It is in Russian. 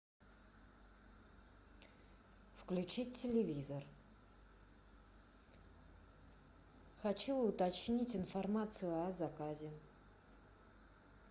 включи телевизор хочу уточнить информацию о заказе